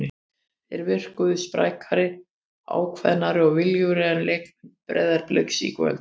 Þeir virkuðu sprækari, ákveðnari og viljugri en leikmenn Breiðabliks í kvöld.